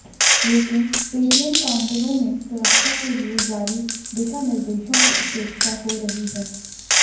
लेकिन एटीएम काउंटरों में सुरक्षा के लिए जारी दिशानिर्देशों की उपेक्षा हो रही है